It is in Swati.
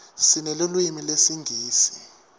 sinelulwimi lesingisi